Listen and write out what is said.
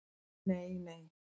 Nei nei!